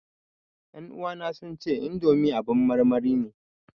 Ƴan uwana sun ce indomi abin marmari ne